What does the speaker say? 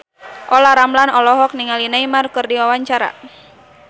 Olla Ramlan olohok ningali Neymar keur diwawancara